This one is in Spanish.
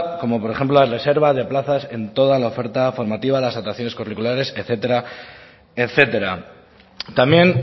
como por ejemplo la reserva de plazas en toda la oferta formativa las curriculares etcétera etcétera también